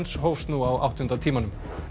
hófst nú á áttunda tímanum